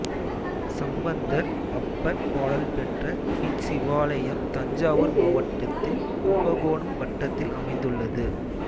சம்பந்தர் அப்பர் பாடல் பெற்ற இச்சிவாலயம் தஞ்சாவூர் மாவட்டத்தில் கும்பகோணம் வட்டத்தில் அமைந்துள்ளது